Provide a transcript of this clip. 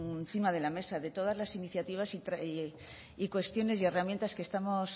encima de la mesa de todas las iniciativas y cuestiones y herramientas que estamos